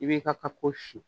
I b'i ka pako sin